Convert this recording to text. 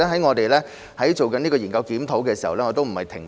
我們在進行研究檢討時，並沒有停步。